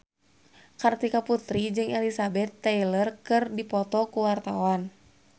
Kartika Putri jeung Elizabeth Taylor keur dipoto ku wartawan